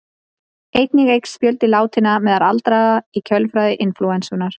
Einnig eykst fjöldi látinna meðal aldraðra í kjölfar inflúensunnar.